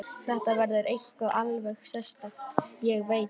Þetta verður eitthvað alveg sérstakt, ég veit það.